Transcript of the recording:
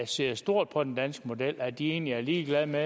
ser stort på den danske model og at de egentlig er ligeglade med